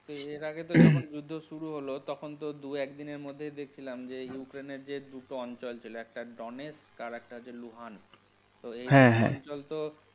এর আগে তো যখন যুদ্ধ শুরু হলো তখন তো দু একদিনের মধ্যেই দেখছিলাম যে ইউক্রেইন এর যে দুটো অঞ্চল ছিল একটা ডনেক্স আর একটা হচ্ছে লুহান। । তো এই পর্যন্ত।